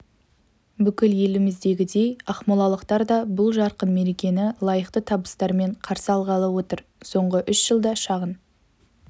бүкіл еліміздегідей ақмолалықтар да бұл жарқын мерекені лайықты табыстармен қарсы алғалы отыр соңғы үш жылда шағын